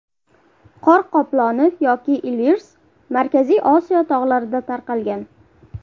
Qor qoploni yoki ilvirs, Markaziy Osiyo tog‘larida tarqalgan.